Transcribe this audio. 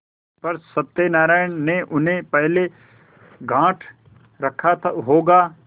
पर सत्यनारायण ने उन्हें पहले गॉँठ रखा होगा